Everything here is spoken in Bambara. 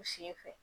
U sen fɛ